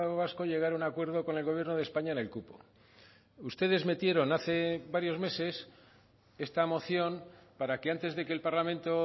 vasco llegara a un acuerdo con el gobierno de españa en el cupo ustedes metieron hace varios meses esta moción para que antes de que el parlamento